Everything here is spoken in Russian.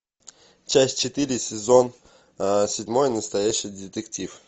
часть четыре сезон седьмой настоящий детектив